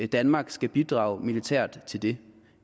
danmark skal bidrage militært til det